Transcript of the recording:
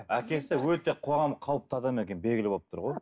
әкесі өте қоғамға қауіпті адам екен белгілі болып тұр ғой